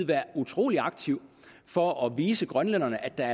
være utrolig aktiv for at vise grønlænderne at der